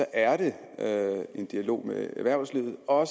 er det en dialog med erhvervslivet og